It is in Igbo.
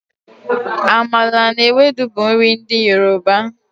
Amala na Ewedu bụ nri ndị Yoruba.